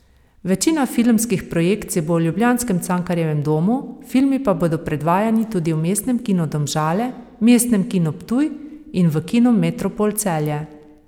Večina filmskih projekcij bo v ljubljanskem Cankarjevem domu, filmi pa bodo predvajani tudi v Mestnem kinu Domžale, Mestnem kinu Ptuj in v Kinu Metropol Celje.